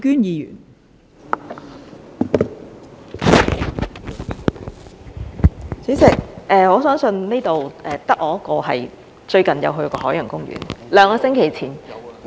代理主席，我相信這裏只有我一個最近有去過海洋公園，兩個星期前......